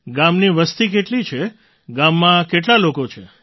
ગામની વસતિ કેટલી છે ગામમાં કેટલા લોકો છે